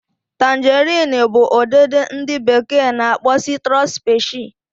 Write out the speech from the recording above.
Tangarin bu udidi ndi beke n'akpo Citrus specie